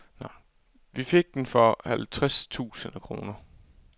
Vi fik den for halvtreds tusind kroner.